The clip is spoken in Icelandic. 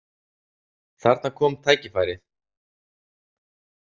Þarna kom tækifærið.